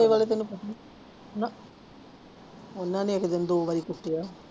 ਵਾਲੇ ਤੈਨੂੰ ਪਤਾ ਨਾ ਉਹਨਾਂ ਨੇ ਇੱਕ ਦਿਨ ਦੋ ਵਾਰੀ ਕੁੱਟਿਆ।